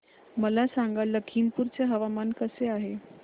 मला सांगा लखीमपुर चे हवामान कसे आहे